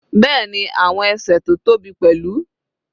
Bẹ́ẹ̀ni, àti ẹsẹ̀ tó tóbi pẹ̀lú.